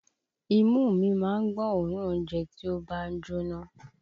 Imú mi má ń gbọ́ òórùn oúnjẹ tí ó bá ń jóná